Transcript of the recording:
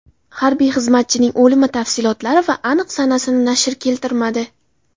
Harbiy xizmatchining o‘limi tafsilotlari va aniq sanasini nashr keltirmadi.